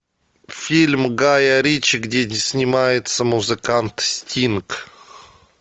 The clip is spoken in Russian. фильм гая ричи где снимается музыкант стинг